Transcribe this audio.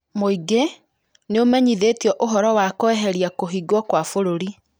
Mũingĩ nĩũmenyithĩtio ũhoro wa kũeheria kũhingwo kwa bũrũri